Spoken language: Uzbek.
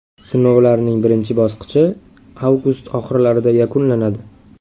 Sinovlarning birinchi bosqichi avgust oxirlarida yakunlanadi.